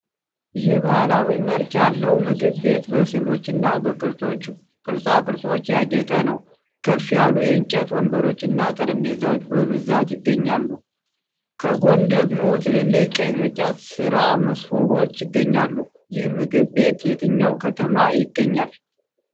ይህ ባህላዊ መልክ ያለው ምግብ ቤት በስዕሎችና በቅርጻ ቅርጾች ያጌጠ ነው። ከፍ ያሉ የእንጨት ወንበሮችና ጠረጴዛዎች በብዛት ይገኛሉ፤ ከጎን ደግሞ ትልልቅ የቅርጫት ሥራ መሶቦች ይገኛሉ። ይህ ምግብ ቤት የትኛው ከተማ ይገኛል?